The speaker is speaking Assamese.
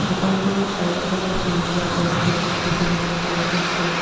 দোকানখনৰ চাৰিওফালে সেউজীয়া গছ গছনি দেখিবলৈ পোৱা গৈছে।